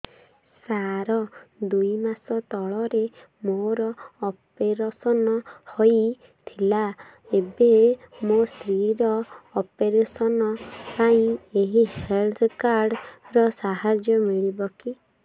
ସାର ଦୁଇ ମାସ ତଳରେ ମୋର ଅପେରସନ ହୈ ଥିଲା ଏବେ ମୋ ସ୍ତ୍ରୀ ର ଅପେରସନ ପାଇଁ ଏହି ହେଲ୍ଥ କାର୍ଡ ର ସାହାଯ୍ୟ ମିଳିବ କି